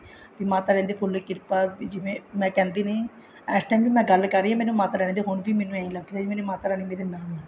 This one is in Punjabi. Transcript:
ਮਾਤਾ ਰਾਣੀ ਦੀ ਫੁੱਲ ਕਿਰਪਾ ਜਿਵੇਂ ਮੈਂ ਕਹਿੰਦੀ ਨੀ ਇਸ time ਵੀ ਗੱਲ ਕਰ ਰਹੀ ਹਾਂ ਹੁਣ ਵੀ ਮੈਨੂੰ ਇਹੀ ਲੱਗ ਰਿਹਾ ਵੀ ਮੇਰੀ ਮਾਤਾ ਰਾਣੀ ਮੇਰੇ ਨਾਲ ਹੈ